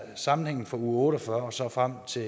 sammenhængen fra uge otte og fyrre og så frem til